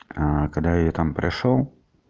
а когда я там пришёл